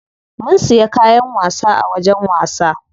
Mun siya kayan wasa a wajen wasa.